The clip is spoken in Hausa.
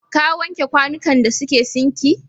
Ka wanke kwanukan da suke sinki?